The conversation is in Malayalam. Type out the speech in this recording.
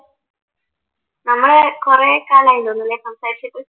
നമ്മള് കുറേക്കാലമായി തോന്നുന്നു അല്ലേ സംസാരിച്ചിട്ട്